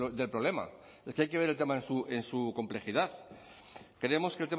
del problema es que hay que ver el tema en su complejidad creemos que